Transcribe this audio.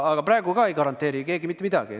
Aga praegu ka ei garanteeri keegi mitte midagi.